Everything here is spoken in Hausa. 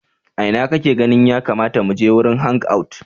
A ina kake ganin ya kamata mu je wurin hangout?